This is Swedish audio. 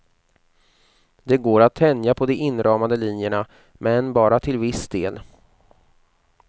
Det går att tänja på de inramande linjerna, men bara till viss del.